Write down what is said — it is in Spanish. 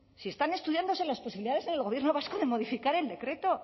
si están estudiándose las posibilidades en el gobierno vasco de modificar el decreto